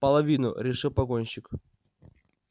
половину решил погонщик